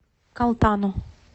калтану